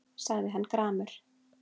sagði hann gramur.